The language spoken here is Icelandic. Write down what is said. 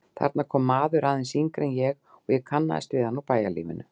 Þarna kom maður, aðeins yngri en ég, og ég kannaðist við hann úr bæjarlífinu.